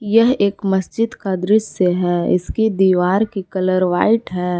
यह एक मस्जिद का दृश्य है इसकी दीवार की कलर व्हाइट हैं।